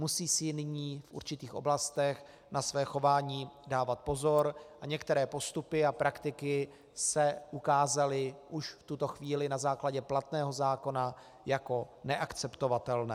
Musí si nyní v určitých oblastech na své chování dávat pozor a některé postupy a praktiky se ukázaly už v tuto chvíli na základě platného zákona jako neakceptovatelné.